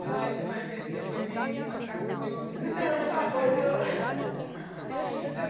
Meu marido vai ver esse depoimento, vai ficar com ciúmes. Então está bom então.